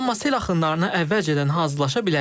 Amma sel axınlarına əvvəlcədən hazırlaşa bilərik.